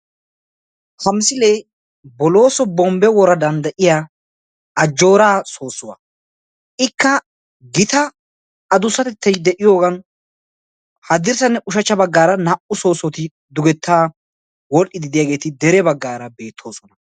Ha misilee bollosso bombbe woraddan de'iyaa Ajjoora soossuwaa. Ikka gitatettay de'iyoogan haddirssanne ushachchanne baggaara naa"u soossoti dugeta wodhdhiide de'iyaageeti dere baggaara beettoosona.